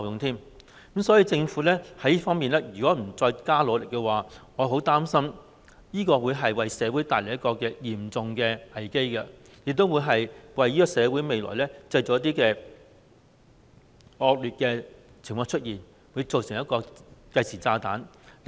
所以，如果政府在這方面不多加努力的話，我很擔心會為社會帶來一個嚴重的危機，亦會令社會在未來出現一些惡劣的情況，變成一個計時炸彈。